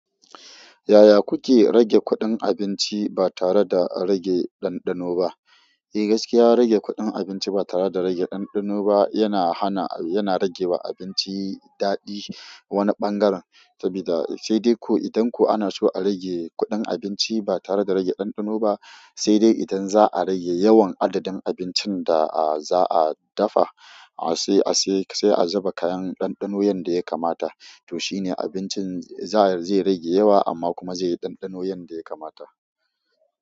Yaya kuke rage kuɗin abinci ba tare da rage ɗanɗano ba? Eh gaskiya rage kuɗin abinci ba tare da rage ɗanɗano ba yana hana, yana rage wa abinci daɗi wane ɓangaren sabida sai dai ko idan ko ana so a rage kuɗin abinci ba tare da rage ɗanɗano ba sai dai idan za'a rage yawan adadin abincin da za'a dafa sai a, sai a zuba kayan ɗanɗano yanda ya kamata to shine abincin za zai rage yawa amma kuma zai yi ɗanɗano yanda ya kamata.